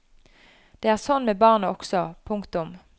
Det er sånn med barnet også. punktum